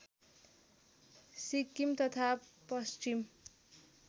सिक्किम तथा पश्चिम